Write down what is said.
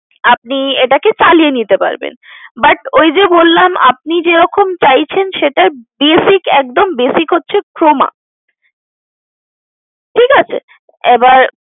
আপনি এটাকে চালিয়ে নিতে পারবেন but ওই যে বললাম আপনি যেরকম চাইছেন সেটার basic একদম basic হচ্ছে Croma ঠিক আছে? এবার